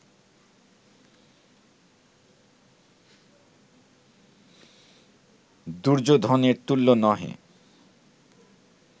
দুর্যোধনের তুল্য নহে